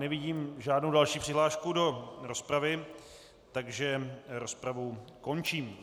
Nevidím žádnou další přihlášku do rozpravy, takže rozpravu končím.